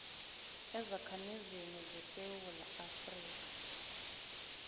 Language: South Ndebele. ezakhamizini zesewula afrika